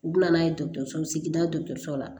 U bɛ na n'a ye dɔgɔtɔrɔso sigida dɔgɔtɔrɔso la